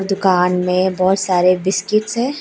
दुकान मे बहोत सारे बिस्किट्स है।